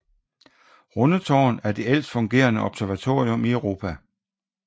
Rundetårn er det ældst fungerende observatorium i Europa